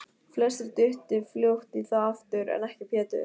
Flestir duttu fljótt í það aftur, en ekki Pétur.